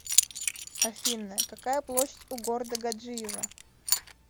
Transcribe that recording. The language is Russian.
афина какая площадь у города гаджиево